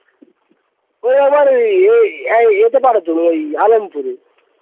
ওই আবার ওই এই এই ওই এতে পারেতো ওই আলেমপুরে